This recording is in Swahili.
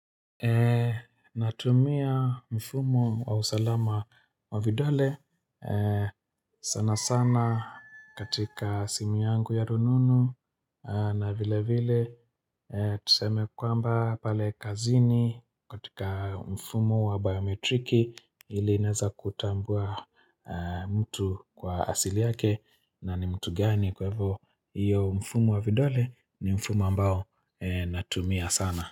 Natumia mfumo wa usalama wa vidole sana sana katika simu yangu ya rununu na vile vile Tuseme kwamba pale kazini katika mfumo wa biometriki ile inaeza kutambua mtu kwa asili yake na ni mtu gani kwa hivyo hiyo mfumo wa vidole ni mfumo ambao natumia sana.